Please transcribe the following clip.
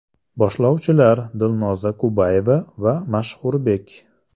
Boshlovchilar Dilnoza Kubayeva va Mashhurbek.